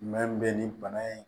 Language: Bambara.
Mɛ min bɛ nin bana in